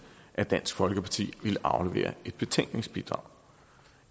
at dansk folkeparti ville aflevere et betænkningsbidrag